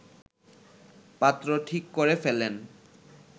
পাত্র ঠিক করে ফেলেন